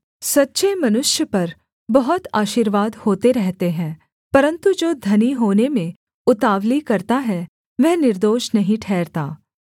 सच्चे मनुष्य पर बहुत आशीर्वाद होते रहते हैं परन्तु जो धनी होने में उतावली करता है वह निर्दोष नहीं ठहरता